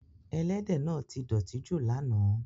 Ẹ̀lẹ́dẹ náà ti dọtí ju lána.